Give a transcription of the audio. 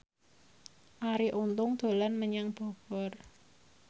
Arie Untung dolan menyang Bogor